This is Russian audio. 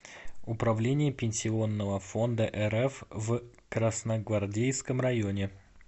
управление пенсионного фонда рф в красногвардейском районе